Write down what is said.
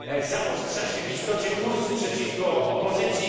Zaostrza się w istocie kurs przeciwko opozycji.